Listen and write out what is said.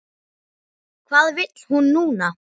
Hvað vill hún núna?